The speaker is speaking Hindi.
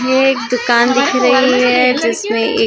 एक दुकान दिख रही है जिसमें एक--